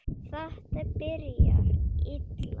Þetta byrjar illa.